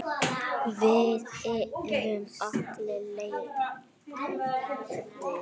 Við erum allir leiðir.